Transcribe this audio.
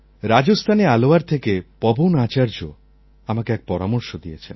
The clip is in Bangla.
রাজস্থানের আলওয়ার থেকে পবন আচার্য আমাকে এক পরামর্শ দিয়েছেন